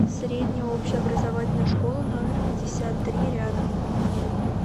средняя общеобразовательная школа номер пятьдесят три рядом